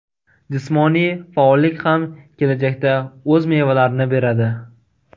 Jismoniy faollik ham kelajakda o‘z mevalarini beradi.